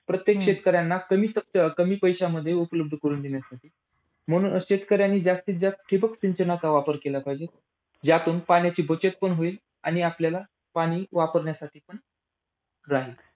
प्रत्येक शेतकऱ्यांना कमी अं कमी पैशामध्ये उपलब्ध करून देण्यासाठी. म्हणून शेतकऱ्यांनी जास्तीतजास्त ठिबक सिंचनाचा वापर केला पाहिजे. ज्यातून पाण्याची बचत पण होईल आणि आपल्याला पाणी वापरण्यासाठी पण राहील.